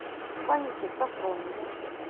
фанике софронове